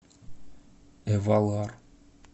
эвалар